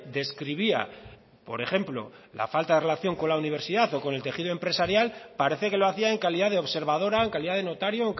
describía por ejemplo la falta de relación con la universidad o con el tejido empresarial parece que lo hacía en calidad de observadora en calidad de notario